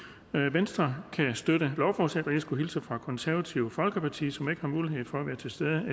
venstre kan støtte lovforslaget og jeg skulle hilse fra det konservative folkeparti som ikke har mulighed for at være til stede